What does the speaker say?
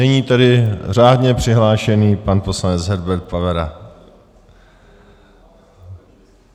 Nyní tedy řádně přihlášený pan poslanec Herbert Pavera.